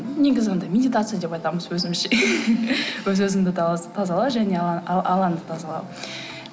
негізі анадай медитация деп айтамыз өзімізше өз өзіңді тазалау және алаңды тазалау